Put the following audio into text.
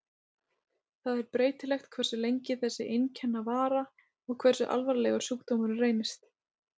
Það er breytilegt hversu lengi þessi einkenna vara og hversu alvarlegur sjúkdómurinn reynist.